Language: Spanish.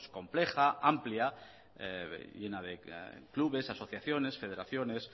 compleja amplia llena de clubes asociaciones federaciones